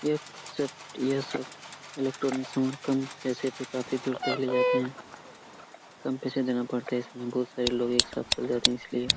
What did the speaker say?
यह सब यह सब इलेक्ट्रॉनिक सामन कम पैसे पर काफी दूर तक ले जाती है कम पैसे देना पड़ता है इसमें बहुत सारे लोग एक साथ चल जाते हैं इसलिए --